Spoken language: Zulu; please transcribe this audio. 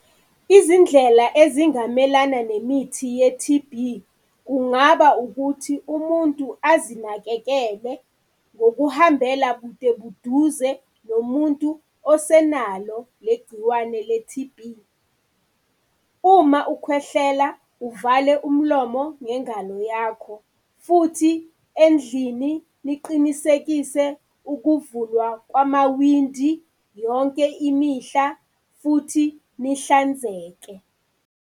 Izindlela ezingamelana nemithi ye-T_B, kungaba ukuthi umuntu azinakekele ngokuhambela bude buduze nomuntu osenalo leli gciwane, le-T_B. Uma ukhwehlela uvale umlomo ngengalo yakho. Futhi, endlini niqinisekise ukuvulwa kwamawindi yonke imihla futhi nihlanzeke.